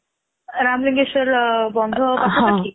ରାମେଲିଶ୍ବର ବନ୍ଧ ପାଖରେ କି?